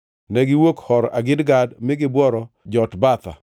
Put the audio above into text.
Negiwuok Hor Hagidgad mi gibworo Jotbatha.